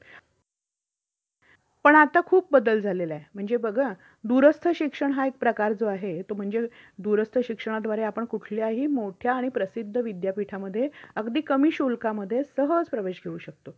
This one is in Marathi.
पण आता खूप बदल झालेला आहे, म्हणजे बघ हा दूरस्थ शिक्षण हा एक प्रकार जो आहे तो म्हणजे दूरस्थ शिक्षणाद्वारे आपण कुठल्याही मोठ्या आणि प्रसिद्ध विद्यापीठामध्ये अगदी कमी शुल्कामध्ये सहज प्रवेश घेऊ शकतो.